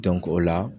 o la